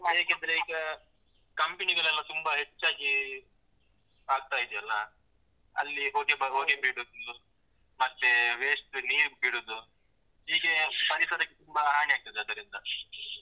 ಹೇಗಂದ್ರೀಗ company ಗಳೆಲ್ಲ ತುಂಬ ಹೆಚ್ಚಾಗಿ ಆಗ್ತಾ ಇದ್ಯಲ್ಲ, ಅಲ್ಲಿ ಹೊಗೆ ಬರುವ ಹೊಗೆ ಬಿಡುದು, ಮತ್ತೆ waste ನೀರ್ ಬಿಡುದು, ಹೀಗೆ ಪರಿಸರಕ್ಕೆ ತುಂಬ ಹಾನಿ ಆಗ್ತದೆ ಅದರಿಂದ.